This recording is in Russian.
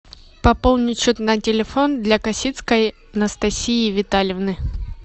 пополнить счет на телефон для косицкой анастасии витальевны